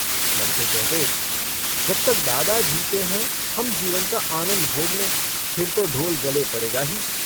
लड़के कहते - जब तक दादा जीते हैं हम जीवन का आनन्द भोग लें फिर तो ढोल गले पड़ेगा ही।